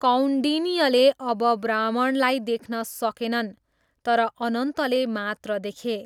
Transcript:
कौन्डिन्यले अब ब्राह्मणलाई देख्न सकेनन् तर अनन्तले मात्र देखे।